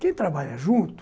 Quem trabalha junto,